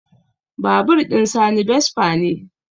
Babur ɗin sani vespa ne